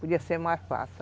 Podia ser mais fácil.